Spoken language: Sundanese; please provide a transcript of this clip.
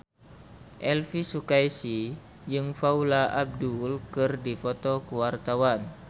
Elvy Sukaesih jeung Paula Abdul keur dipoto ku wartawan